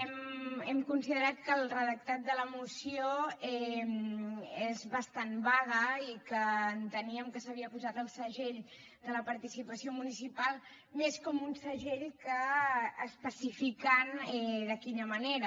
hem considerat que el redactat de la moció és bastant vague i que enteníem que s’havia posat el segell de la participació municipal més com un segell que especificant de quina manera